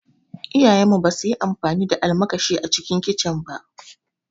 Iyayen mu ba su yi amfani da almakashi a kicin ba